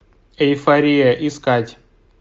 эйфория искать